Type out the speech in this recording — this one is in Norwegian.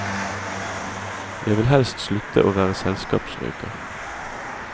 Jeg vil helst slutte å være selskapsrøyker.